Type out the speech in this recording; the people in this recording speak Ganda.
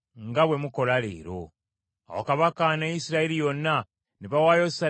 Awo Kabaka ne Isirayiri yonna ne bawaayo ssaddaaka mu maaso ga Mukama .